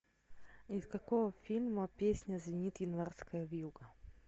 из какого фильма песня звенит январская вьюга